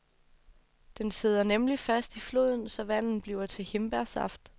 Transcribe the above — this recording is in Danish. Den sidder nemlig fast i floden, så vandet bliver til hindbærsaft.